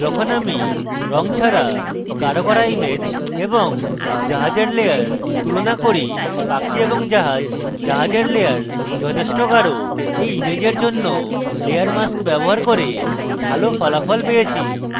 যখন আমি রঙ ছাড়া গাঢ় করা image এবং জাহাজের layer তুলনা করি পাখি এবং জাহাজ জাহাজের layer যথেষ্ট গাঢ় এবং আমার মনে হয় যে when ইমেজের জন্য layer mask ব্যবহার করে ভালো ফলাফল পেয়েছি